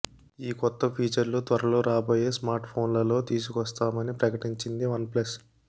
ఈ కొత్త ఫీచర్లు త్వరలో రాబోయే స్మార్ట్ ఫోన్లలో తీసుకొస్తామని ప్రకటించింది వన్ ప్లస్